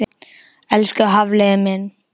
Elsku Hafliði minn.